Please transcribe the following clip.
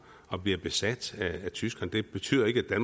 og blev besat af tyskerne det betyder ikke at